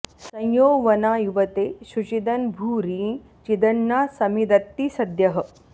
सं यो वना॑ यु॒वते॒ शुचि॑द॒न्भूरि॑ चि॒दन्ना॒ समिद॑त्ति स॒द्यः